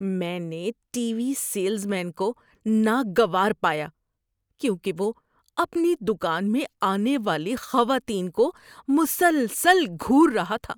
میں نے T V salesman کو ناگوار پایا کیونکہ وہ اپنی دکان میں آنے والی خواتین کو مسلسل گھور رہا تھا۔